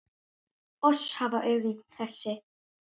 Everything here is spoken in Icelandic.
Oss hafa augun þessi